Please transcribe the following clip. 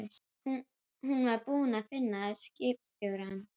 Ég innritaðist í Læknadeildina sem nýbakaður stúdent haustið